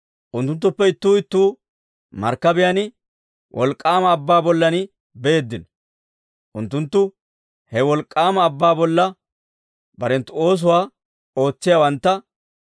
Unttunttuppe ittuu ittuu, markkabiyaan wolk'k'aama abbaa bollan beeddino. Unttunttu he wolk'k'aama abbaa bolla barenttu oosuwaa ootsiyaawantta.